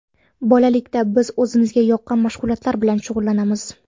Bolalikda biz o‘zimizga yoqqan mashg‘ulotlar bilan shug‘ullanamiz.